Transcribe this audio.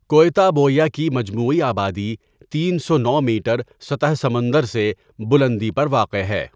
کؤتا بؤیا کی مجموعی آبادی تین سو نو میٹر سطح سمندر سے بلندی پر واقع ہے.